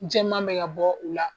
Jɛma mɛ ka bɔ u la